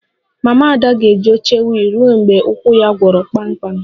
Mama Ada ga-eji oche wiil ruo mgbe ụkwụ ya gwọrọ kpamkpam